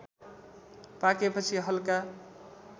पाकेपछि हल्का